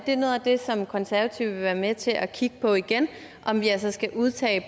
det noget af det som konservative vil være med til at kigge på igen om vi altså skal udtage